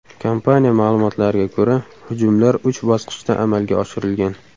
Kompaniya ma’lumotlariga ko‘ra, hujumlar uch bosqichda amalga oshirilgan.